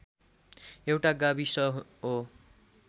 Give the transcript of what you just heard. एउटा गाविस हो